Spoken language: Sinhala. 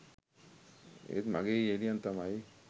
ඒත් මගේ යෙහෙළියන් තමයි